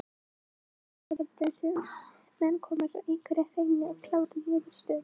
Og það er sárasjaldan sem menn komast að einhverri hreinni og klárri niðurstöðu.